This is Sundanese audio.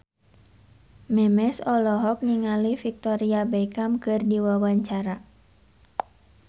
Memes olohok ningali Victoria Beckham keur diwawancara